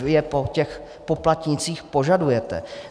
Vy je po těch poplatnících požadujete.